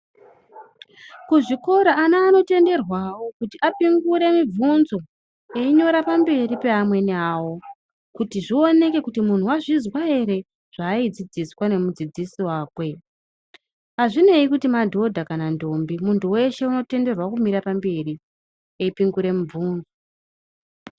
Kuzvikora ana anotenderwawo kuti apingure mibvunzo einyora pamberi peamweni awo kuti zvioneke kuti munhu wazvizwa ere zvaaidzidziswa nemudzidzisi wakwe. Azvinei kuti madhodha kana kuti ndombi ,munhu weshe unotenderwa kumira pamberi eipingure mibvunzo.